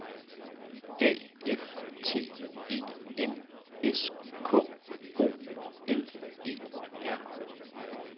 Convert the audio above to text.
A F T E N S K O L E R